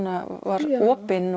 var opin